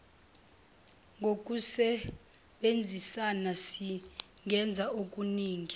ngokusebenzisana singenza okuningi